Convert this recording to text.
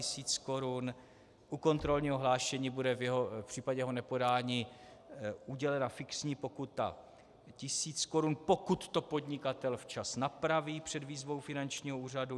U kontrolního hlášení bude v případě jeho nepodání udělena fixní pokuta tisíc korun, pokud to podnikatel včas napraví před výzvou finančního úřadu.